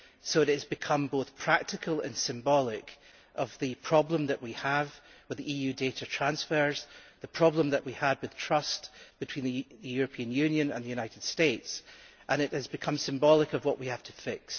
That has become both a practical factor and a symbol of the problem that we have with EU data transfers and the problem that we have with trust between the European Union and the United States, and it has become symbolic of what we have to fix.